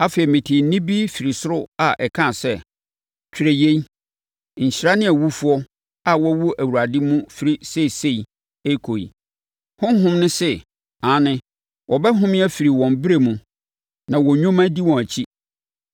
Afei, metee nne bi firi ɔsoro a ɛkaa sɛ, “Twerɛ yei. Nhyira ne awufoɔ a wɔwu Awurade mu firi seesei rekɔ yi.” Honhom no se, “Aane, wɔbɛhome afiri wɔn brɛ no mu; na wɔn nnwuma di wɔn akyi.”